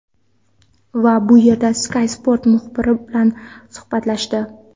Va bu yerda Sky Sports muxbiri bilan suhbatlashdi.